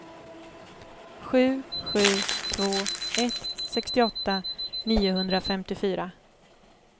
sju sju två ett sextioåtta niohundrafemtiofyra